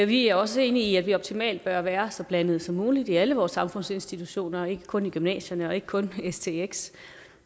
vi er også enige i at vi optimalt bør være så blandet som muligt i alle vores samfundsinstitutioner ikke kun i gymnasierne og ikke kun på stx